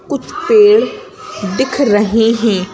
कुछ पेड़ दिख रहे हैं।